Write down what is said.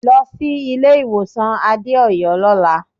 Lọ sí ilé-ìwọ̀sàn Adéọ̀yọ́ lọ́la.